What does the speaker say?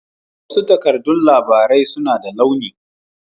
Wasu takardan labarai suna da launi